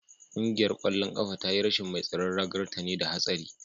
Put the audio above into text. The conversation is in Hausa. Kungiyar kwallon kafa ta yi rashin mai tsaron ragar ta ne da hatsari